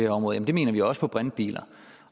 område det mener vi også til brintbiler